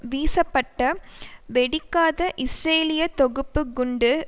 வீசப்பட்ட வெடிக்காத இஸ்ரேலிய தொகுப்பு குண்டு